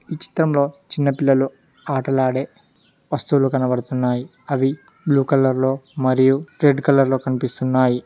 ఈ చిత్రంలో చిన్న పిల్లలు ఆటలాడే వస్తువులు కనబడుతున్నాయి అవి బ్లూ కలర్ లో మరియు రెడ్ కలర్ లో కనిపిస్తున్నాయి.